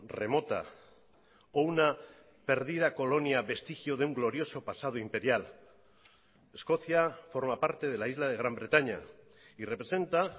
remota o una perdida colonia vestigio de un glorioso pasado imperial escocia forma parte de la isla de gran bretaña y representa